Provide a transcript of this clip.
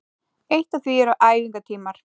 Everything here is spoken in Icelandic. Eitt af því eru æfingatímar